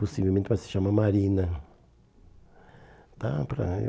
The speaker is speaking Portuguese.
Possivelmente vai se chamar Marina.